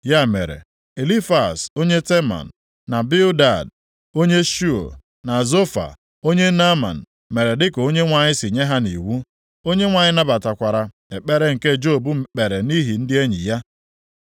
Ya mere, Elifaz onye Teman, na Bildad, onye Shu, na Zofa, onye Naaman mere dịka Onyenwe anyị si nye ha nʼiwu. Onyenwe anyị nabatakwara ekpere nke Job kpere nʼihi ndị enyi ya.